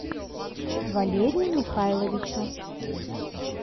валерию михайловичу